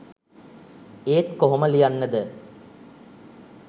ඒත් කොහොම ලියන්නද